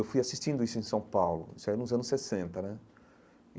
Eu fui assistindo isso em São Paulo, isso era nos anos sessenta né.